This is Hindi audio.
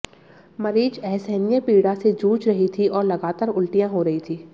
मरीज असहनीय पीड़ा से जूझ रही थी और लगातार उल्टियां हो रही थीं